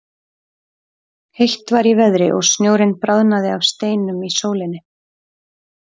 Heitt var í veðri og snjórinn bráðnaði af steinum í sólinni.